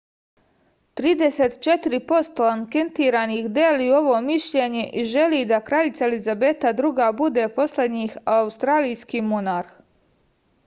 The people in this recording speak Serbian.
trideset četiri posto anketiranih deli ovo mišljenje i želi da kraljica elizabeta ii bude poslednji australijski monarh